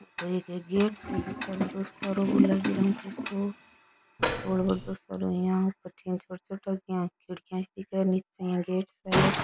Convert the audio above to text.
ओ तो एक गेट साे दिखे बड़ो सारो गुलाबी रंग को सो और बड़ो सारो यहाँ बठीने छोटी छोटी इया खिड़कियां सी दिखे निचे इया गेट सो है।